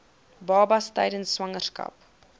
babas tydens swangerskap